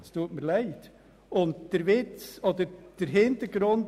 Bei Artikel 13 Absatz 1 Buchstabe a